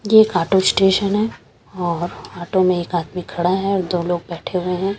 ये एक auto station है और ऑटो में एक आदमी खड़ा है और दो लोग बैठे हुए हैं।